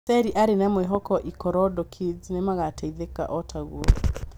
Seyi arĩ na mwĩhoko Ikorodu kids nĩmagateithĩka otaũguo